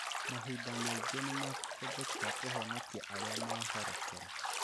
Mahinda maingĩ nĩ mahũthĩkaga kũhonokia arĩa mahorokera